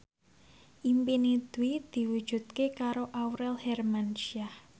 impine Dwi diwujudke karo Aurel Hermansyah